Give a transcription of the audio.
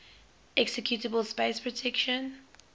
executable space protection